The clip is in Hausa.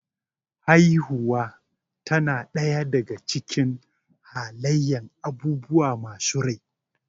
Haifuwa tana ɗaya daga cikin halayyan abubuwa masu rai